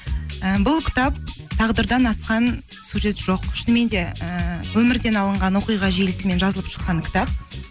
і бұл кітап тағдырдан асқан сюжет жоқ шынымен де ііі өмірден алынған оқиға желісімен жазылып шыққан кітап